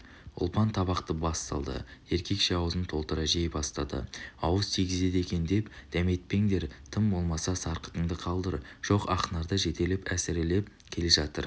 ұлпан табақты бас салды еркекше аузын толтыра жей бастады ауыз тигізеді екен деп дәметпеңдер тым болмаса сарқытыңды қалдыр жоқ ақнарды жетелеп әсіреп келе жатыр